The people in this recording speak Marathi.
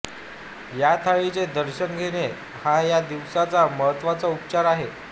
या थाळीचे दर्शन घेणे हा या दिवसाचा महत्त्वाचा उपचार आहे